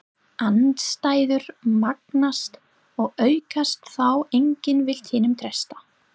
Andstæður magnast og aukast þá enginn vill hinum treysta.